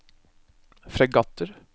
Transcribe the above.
fregatter